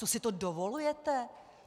Co si to dovolujete?